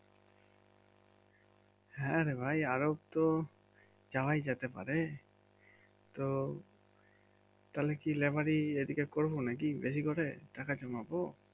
হ্যাঁ রে ভাই আরব তো যাওয়াই যেতে পারে তো তাহলে কি লেবারি এদিকে করবো নাকি বেশি করে টাকা জমাব?